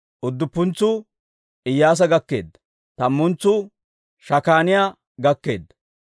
Udduppuntsuu Iyyaasa gakkeedda. Tammantsuu Shakaaniyaa gakkeedda.